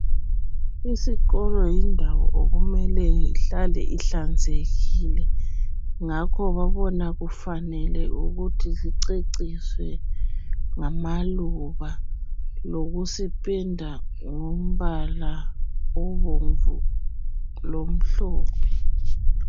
Isikolo yindawo okumele kuhlale ihlanzekile ngakho babona kufanele ukuthi siceciswe ngamaluba lokusipenda ngombala obomvu lomhlophe.